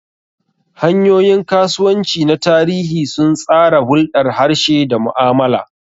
Hanyoyin kasuwanci na tarihi sun tsara hulɗar harshe da mu'amala.